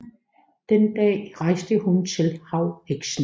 Den dag rejste hun til havheksen